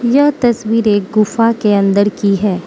यह तस्वीर एक गुफा के अंदर की है।